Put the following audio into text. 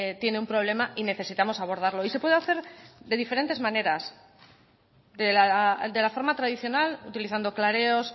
tiene un problema y necesitamos abordarlo y se puede hacer de diferentes maneras de la forma tradicional utilizando clareos